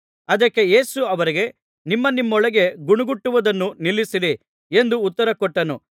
ಅದಕ್ಕೆ ಯೇಸು ಅವರಿಗೆ ನಿಮ್ಮ ನಿಮ್ಮೊಳಗೆ ಗೊಣಗುಟ್ಟುವುದನ್ನು ನಿಲ್ಲಿಸಿರಿ ಎಂದು ಉತ್ತರ ಕೊಟ್ಟನು